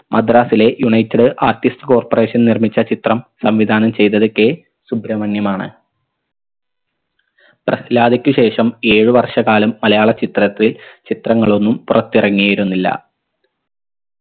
മദ്രാസിലെ united artist corporation നിർമ്മിച്ച ചിത്രം സംവിധാനം ചെയ്തത് k സുബ്രമണ്യം ആണ് പ്രസ്‌ലാദക്ക് ശേഷം ഏഴ് വർഷ കാലം മലയാള ചിത്രത്തിൽ ചിത്രങ്ങളൊന്നും പുറത്തിറങ്ങിയിരുന്നില്ല